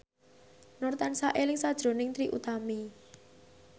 Nur tansah eling sakjroning Trie Utami